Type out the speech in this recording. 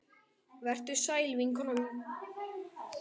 Vertu sæl vinkona mín.